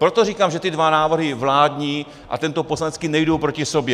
Proto říkám, že ty dva návrhy, vládní a tento poslanecký, nejdou proti sobě.